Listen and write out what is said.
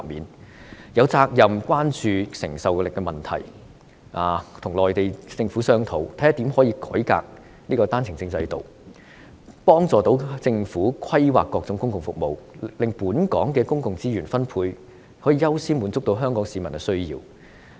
政府有責任關注承受力的問題，跟內地政府商討，看看如何能夠改革單程證制度，幫助政府規劃各種公共服務，令本港的公共資源分配可以優先滿足香港市民的需要。